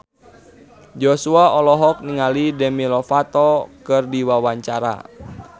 Joshua olohok ningali Demi Lovato keur diwawancara